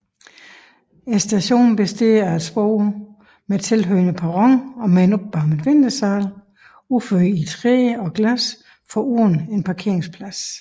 Stationen består af et spor med tilhørende perron med en opvarmet ventesal udført i træ og glas foruden en parkeringsplads